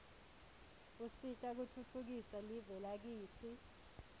usita kutfutfukisa live lakitsi